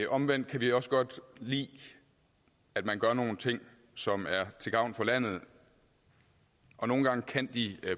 omvendt kan vi også godt lide at man gør nogle ting som er til gavn for landet og nogle gange kan de